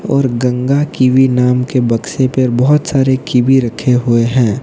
और गंगा कीवी नाम के बक्से पर बहोत सारे कीवी रखे हुए हैं।